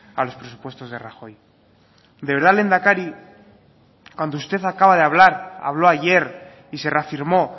a los presupuestos de rajoy de verdad lehendakari cuando usted acaba de hablar habló ayer y se reafirmó